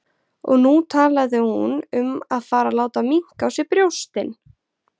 Og nú talaði hún um að fara að láta minnka á sér brjóstin!